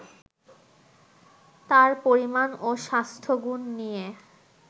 তার পরিমাণ ও স্বাস্থ্যগুণ নিয়ে